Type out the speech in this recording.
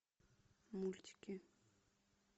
мультики